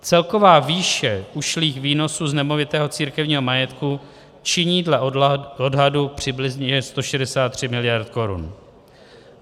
Celková výše ušlých výnosů z nemovitého církevního majetku činí dle odhadu přibližně 163 miliard korun.